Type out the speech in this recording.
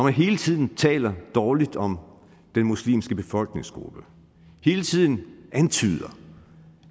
hele tiden taler dårligt om den muslimske befolkningsgruppe hele tiden antyder